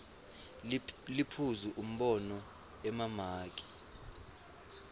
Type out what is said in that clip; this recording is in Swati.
liphuzu umbono emamaki